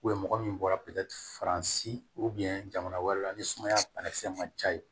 mɔgɔ min bɔra faransi jamana wɛrɛ la ni sumaya banakisɛ man ca yen